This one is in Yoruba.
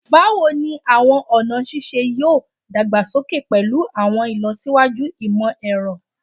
Bawo ni awọn ọna sise yoo dagbasoke pẹlu awọn ilọsiwaju imọ-ẹrọ?